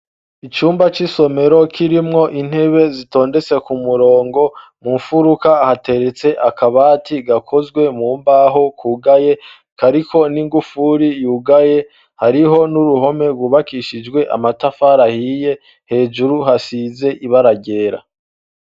Icumba c'isomero kirimwo intebe zitondetse ku murongo mu mfuruka hateretse akabati gakozwe mu mbaho kugaye kariko n'ingufuri yugaye, hariho n'uruhome rwubakishijwe amatafari ahiye, hejuru hasize ibara ryera.